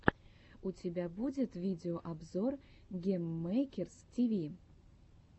у тебя будет видеообзор гейммэйкерс тиви